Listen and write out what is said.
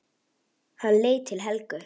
Hann leit til Helgu.